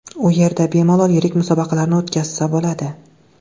U yerda bemalol yirik musobaqalarni o‘tkazsa bo‘ladi.